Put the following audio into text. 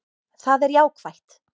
Það er jákvætt